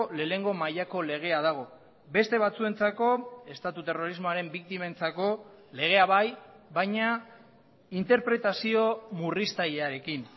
lehenengo mailako legea dago beste batzuentzako estatu terrorismoaren biktimentzako legea bai baina interpretazio murriztailearekin